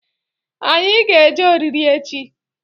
Anyị ga-eje ọriri echi